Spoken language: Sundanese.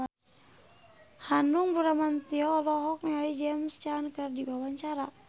Hanung Bramantyo olohok ningali James Caan keur diwawancara